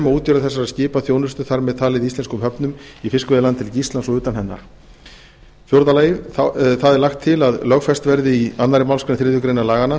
útgerðum þessara skipa þjónustu þar með talið i íslenskum höfnum í fiskveiðilandhelgi íslands og utan hennar fjórða það er lagt til að lögfest verði í annarri málsgrein þriðju grein laganna